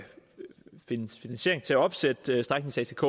findes finansiering til at opsætte stræknings atk